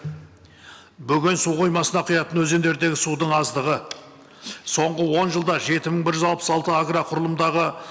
бүгін су қоймасына құятын өзендердің судың аздығы соңғы он жылда жеті мың бір жүз алпыс алты агроқұрылымдағы